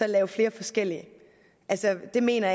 laver flere forskellige altså jeg mener